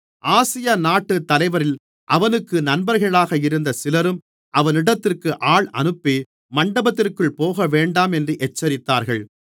ஆசியாநாட்டுத் தலைவரில் அவனுக்கு நண்பர்களாக இருந்த சிலரும் அவனிடத்திற்கு ஆள் அனுப்பி மண்டபத்திற்குள் போகவேண்டாம் என்று எச்சரித்தார்கள்